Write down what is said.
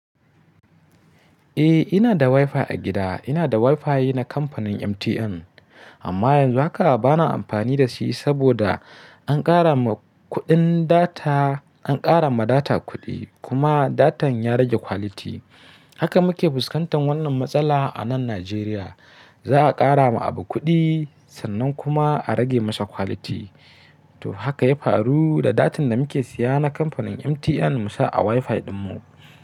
Eh, ina da WiFi a gida. Ina da WiFi na kamfanin MTN, amma yanzu haka bana amfani da shi saboda an ƙara ma kuɗin data, an ƙara ma data kuɗi kuma datan ya rage quality. Haka muke fuskantar wannan matsala a nan Najeriya. Za a ƙara ma abu kuɗi sannan kuma a rage masa quality. To haka ya faru da datan da muke siya na kamfanin MTN mu sa a WiFi ɗinmu.